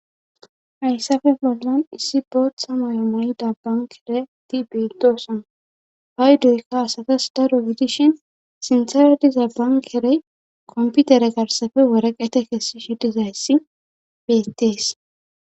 Hayssafe bollan issi boot sama yo mayi dabban kere ti betoson ha7y doyka asatas daro widishin sinsereti zaban kerey komputere garsafe woreqete kessi shidizayssi bettees.